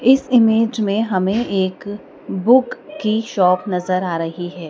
इस इमेज में हमें एक बुक की शॉप नजर आ रही है।